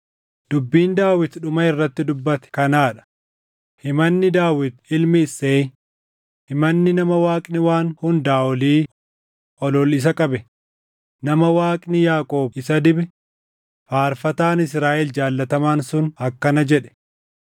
Dubbiin Daawit dhuma irratti dubbate kanaa dha: “Himanni Daawit ilmi Isseey, himanni nama Waaqni Waan Hundaa Olii, ol ol isa qabe, nama Waaqni Yaaqoob isa dibe faarfataan Israaʼel jaallatamaan sun akkana jedhe: